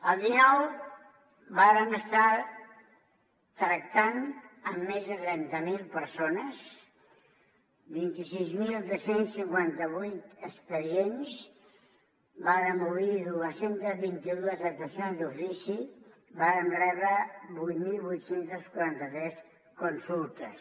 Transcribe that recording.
el dinou vàrem estar tractant amb més de trenta mil persones vint sis mil dos cents i cinquanta vuit expedients vàrem obrir dos cents i vint dos actuacions d’ofici vàrem rebre vuit mil vuit cents i quaranta tres consultes